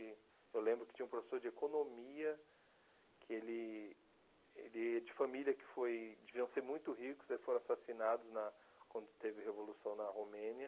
E eu lembro que tinha um professor de economia, que ele ele de família que foi deviam ser muito ricos, e foram assassinados na quando teve a Revolução na Romênia.